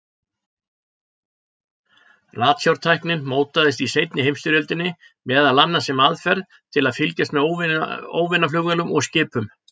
Ratsjártæknin mótaðist í seinni heimsstyrjöldinni, meðal annars sem aðferð til að fylgjast með óvinaflugvélum og-skipum.